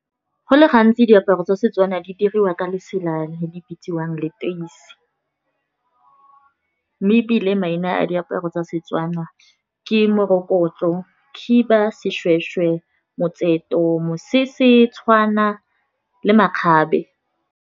Go le gantsi diaparo tsa setswana di diriwa ka lesela le di bitsiwang leteisi, mme ebile maina a diaparo tsa Setswana, ke morokotso, khiba seshweshwe, motseto mosese, tshwana le makgabe.